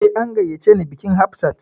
Eh, an gayyace ni bikin Hafsat